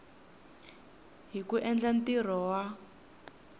hi ku endla ntirho wa